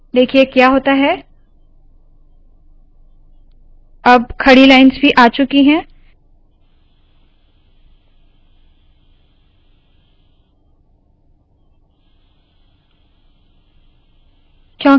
देखिए क्या होता है अब खड़ी लाइन्स भी आ चुकी है